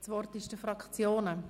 Das Wort gehört den Fraktionen.